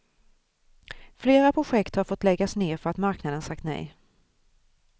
Flera projekt har fått läggas ner för att marknaden sagt nej.